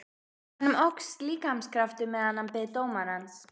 Honum óx líkamskraftur meðan hann beið dómarans.